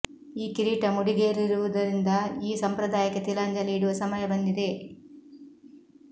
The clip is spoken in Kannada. ಈ ಕಿರೀಟ ಮುಡಿಗೇರಿರುವುದರಿಂದ ಈ ಸಂಪ್ರದಾಯಕ್ಕೆ ತಿಲಾಂಜಲಿ ಇಡುವ ಸಮಯ ಬಂದಿದೆ